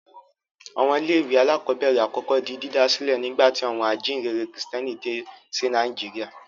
Àwọn ilé-ìwé alákọ̀ọ́bẹ̀rẹ̀ àkọ́kọ́ di dídá sílẹ̀ nígbà tí àwọn ajíǹrere Kìrìtẹ́ẹ́nì dé sí Nàìjíríà.